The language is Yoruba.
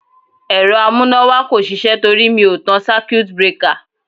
Ẹ̀rọ amúnáwá kò sisẹ́ torí mi ò tan circuit breaker.